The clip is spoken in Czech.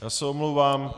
Já se omlouvám.